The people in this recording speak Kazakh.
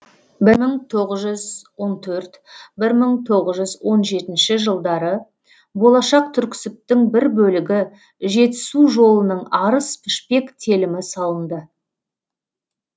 бір мың тоғыз жүз он төрт бір мың тоғыз жүз он жетінші жылдары болашақ түрксібтің бір бөлігі жетісу жолының арыс пішпек телімі салынды